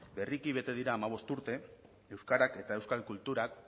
berriki bete dira hamabost urte euskarak eta euskal kulturak